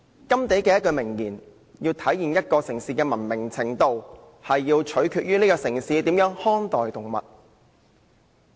甘地有一句名言："一個城市的文明程度，取決於城市的人民如何看待動物。